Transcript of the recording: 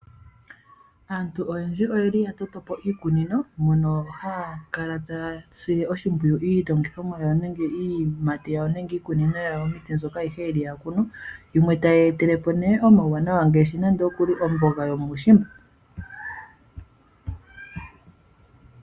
Aantu oyendji oye li ya toto po iikunino mono haya kala taya sile oshimpwiyu iilongithomwa yawo nenge iiyimati yawo nenge iikunino yawo yomiti ayihe mbyoka yeli ya kunu, yimwe tayi ya etele po nee omauwaanawa ngaashi nande oku li omboga yomuushimba.